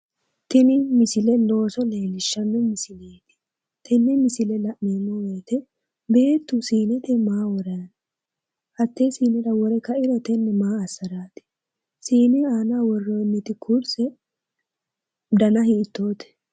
Tini misile Looso leellishshanno misileeti tenne misile la'neemmo woyite beettu siinete maa worranni no? Hattee siinira wore kairo tenne maa assaraati? Siine aanoho worroonniti kurse dana hiittoote.